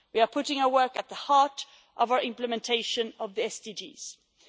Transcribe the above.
We are putting our work at the heart of our implementation of the SDGs.